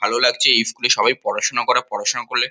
ভালো লাগছে এই স্কুল -এ সবাই পড়াশোনা করে পড়াশোনা করলে--